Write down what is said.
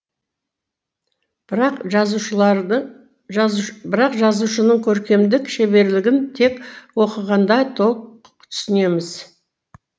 бірақ жазушының көркемдік шеберлігін тек оқығанда толық түсінеміз